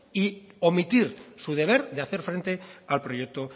y omitir su deber de hacer frente al proyecto